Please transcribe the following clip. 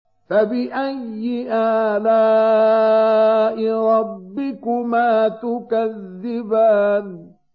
فَبِأَيِّ آلَاءِ رَبِّكُمَا تُكَذِّبَانِ